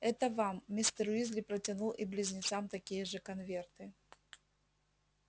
это вам мистер уизли протянул и близнецам такие же конверты